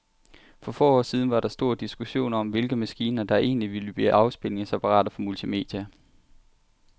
For få år siden var der stor diskussion om, hvilke maskiner, der egentlig ville blive afspilningsapparater for multimedia.